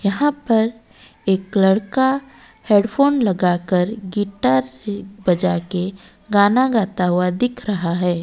यहां पर एक लड़का हेडफोन लगाकर गिटार से बजा के गाना गाता हुआ दिख रहा है।